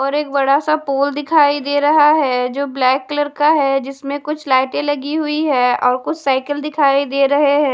और एक बड़ा सा पोल दिखाई दे रहा है जो ब्लैक कलर का है जिसमें कुछ लाइटे लगी हुई है और कुछ साइकल दिखाई दे रहे हैं।